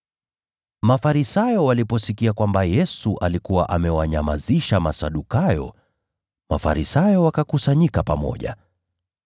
Mafarisayo waliposikia kwamba Yesu alikuwa amewanyamazisha Masadukayo, Mafarisayo wakakusanyika pamoja.